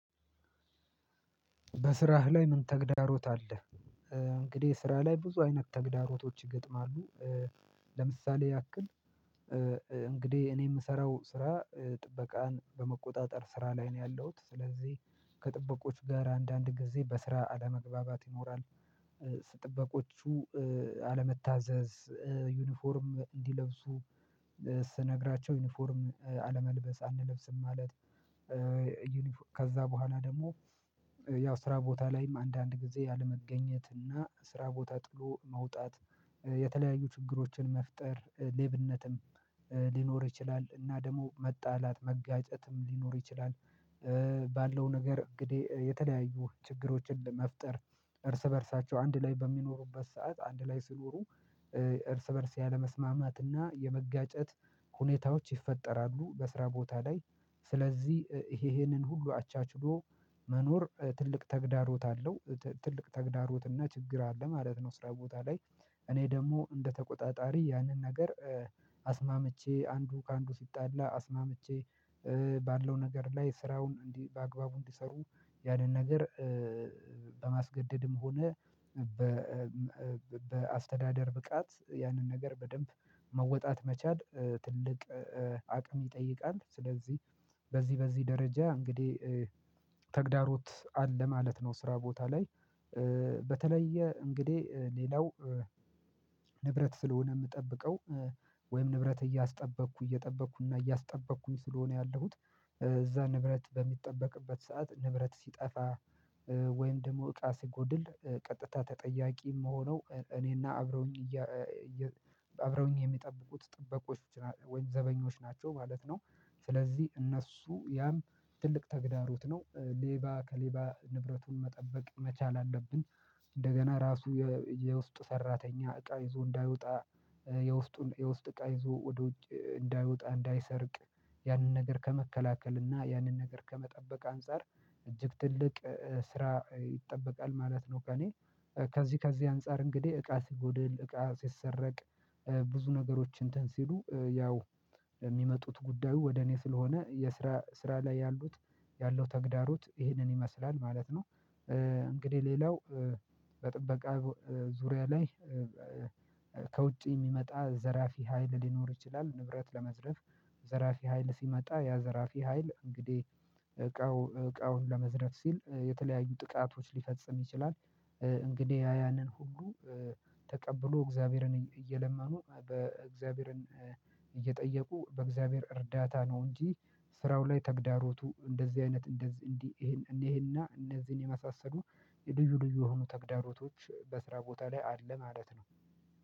በስራህ ላይ ምን ተግዳሮት አለ? እንግዲህ ስራ ላይ ብዙ አይነት ተግዳሮቶች ይገጥማሉ ለምሳሌ ያክል እንግዲህ እኔ የምሰራው ስራ ጥበቃን በመቆጣጠር ስራ ላይ ነው ያለሁት ስለዚህ ከጥበቆች ጋር አንዳንድ ጊዜ በስራ አለመግባባት ይኖራል ጥበቆቹ አለመታዘዝ ዩኒፎርም እንዲለብሱ ስነግራቸው ዩኒፎርም አለመልበስ አንለብስም ማለት ከዛ በኋላ ደግሞ ያው ስራ ቦታ ላይም አንዳንድ ጊዜ ያለመገኘት እና ስራ ቦታ ጥሎ መውጣት የተለያዩ ችግሮችን መፍጠር ሌብነትም ሊኖር ይችላል እና ደግሞ መጣላት መጋጨትም ሊኖር ይችላል ባለው ነገር እንግዲህ የተለያዩ ችግሮችን ለመፍጠር እርስ በእርሳቸው አንድ ላይ በሚኖሩበት ሰዓት አንድ ላይ ሲኖሩ እርስ በእርስ ያለመስማማትና የመጋጨት ሁኔታዎች ይፈጠራሉ በስራ ቦታ ላይ ስለዚህ ይሄ ይሄንን ሁሉ አቻችሎ መኖር ትልቅ ተግዳሮት አለው ትልቅ ተግዳሮት እና ችግር አለ ማለት ነው ስራ ቦታ ላይ እኔ ደግሞ እንደተቆጣጣሪ ያንን ነገር አስማምቼ አንዱ ከአንዱ ሲጣላ አስማምቼ ባለው ነገር ላይ ስራውን እንዲህ በአግባቡ እንዲሰሩ ያንን ነገር በማስገደድም ሆነ በአስተዳደር ብቃት ያንን ነገር በደንብ መወጣት መቻል ትልቅ አቅም ይጠይቃል ስለዚህ በዚህ በዚህ ደረጃ እንግዲህ ተግዳሮት አለ ማለት ነው ስራ ቦታ ላይ በተለየ እንግዲህ ሌላው ንብረት ስለሆነ የምጠብቀው ወይም ንብረት እያስጠበቅኩ እየጠበቅኩና እያስጠበቅኩኝ ስለሆነ ያለሁት ንብረት በሚጠበቅበት ሰዓት ንብረት ሲጠፋ ወይም ደግሞ እቃ ሲጎድል ቀጥታ ተጠያቂ የምሆነው እኔና አብረውኝ አብረውኝ የሚጠብቁት ጥበቆች ወይም ዘበኞች ናቸው ማለት ነው ስለዚህ እነሱ ያም ትልቅ ተግዳሮት ነው ሌባ ከሌባ ንብረቱን መጠበቅ መቻል አለብኝ እንደገና ራሱ የውስጥ ሰራተኛ እቃ ይዞ እንዳይወጣ የውስጥ የውስጥ እቃ ይዞ ወደ ውጭ እንዳይወጣ እንዳይሰርቅ ያንን ነገር ከመከላከል እና ያንን ነገር ከመጠበቅ አንፃር እጅግ ትልቅ ስራ ይጠበቃል ማለት ነው ከእኔ ከዚህ ከዚህ አንፃር እንግዲህ እቃ ሲጎድል እቃ ሲሰረቅ ብዙ ነገሮች እንትን ሲሉ ያው የሚመጡት ጉዳዩ ወደ እኔ ስለሆነ የስራ ስራ ላይ ያሉት ያለው ተግዳሮት ይሄንን ይመስላል ማለት ነው እንግዲህ ሌላው በጥበቃ ዙሪያ ላይ ከውጪ የሚመጣ ዘራፊ ሀይል ሊኖር ይችላል ንብረት ለመዝረፍ ዘራፊ ሀይል ሲመጣ ያ ዘራፊ ሀይል እንግዲህ እቃው እቃውን ለመዝረፍ ሲል የተለያዩ ጥቃቶች ሊፈጽም ይችላል እንግዲህ ያንን ሁሉ ተቀብሎ እግዚአብሔርን እየለመኑ በእግዚአብሔርን እየጠየቁ በእግዚአብሔር እርዳታ ነው እንጂ ስራው ላይ ተግዳሮቱ እንደዚህ አይነት እንደዚህ እንዲህ እንዲህ እንዲህና እነዚህን የመሳሰሉ የልዩ ልዩ የሆኑ ተግዳሮቶች በስራ ቦታ ላይ አለ ማለት ነው